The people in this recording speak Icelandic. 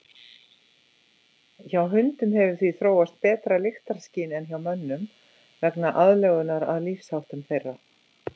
Hjá hundum hefur því þróast betra lyktarskyn en hjá mönnum vegna aðlögunar að lífsháttum þeirra.